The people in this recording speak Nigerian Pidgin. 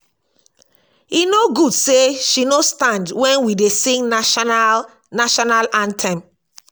e no good say she no stand wen we dey sing national national anthem